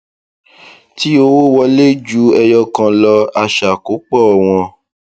tí owó wọlé ju ẹyọ kan lọ a ṣàkópọ wọn